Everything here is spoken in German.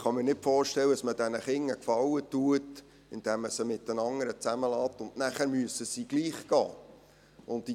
Ich kann mir jedoch nicht vorstellen, dass man diesen Kindern einen Gefallen tut, wenn man sie mit den anderen zusammenbleiben lässt, obwohl sie nachher gleichwohl gehen müssen.